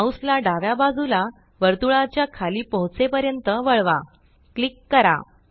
mouse ला डाव्या बाजूला वर्तुळाच्या खाली पोहेचेपर्यंत वळवा क्लिक करा